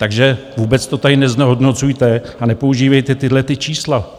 Takže vůbec to tady neznehodnocujte a nepoužívejte tahleta čísla.